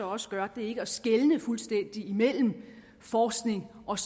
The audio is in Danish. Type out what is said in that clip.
også gør er ikke at skelne fuldstændig mellem forskning og